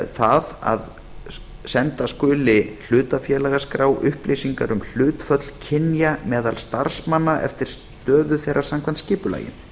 það að senda skuli hlutafélagaskrá upplýsingar um hlutföll kynja meðal starfsmanna eftir stöðu þeirra samkvæmt skipulagi